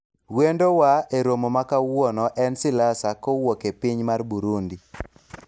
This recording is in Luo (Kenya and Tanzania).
wendo wa e romo ma kawuono en Siliasa kowuok e piny mar Burundi